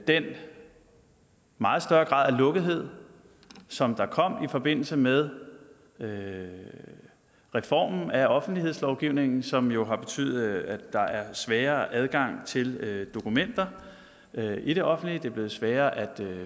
den meget større grad af lukkethed som der kom i forbindelse med med reformen af offentlighedslovgivningen som jo har betydet at der er sværere adgang til dokumenter i det offentlige det er blevet sværere at